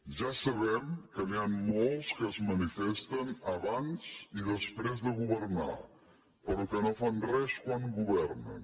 ja sabem que n’hi han molts que es manifesten abans i després de governar però que no fan res quan governen